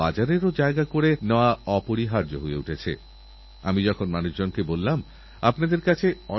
আর এজন্য অঙ্কিত লিখেছেন যে আপনার সরকার আব্দুল কালামজীর স্বপ্নকে সার্থককরার জন্য কি করছে আপনার কথা ঠিক